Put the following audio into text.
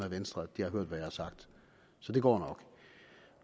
af venstre har hørt hvad jeg har sagt så det går nok